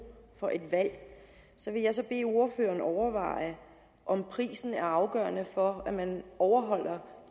for et valg så vil jeg bede ordføreren overveje om prisen er afgørende for at man overholder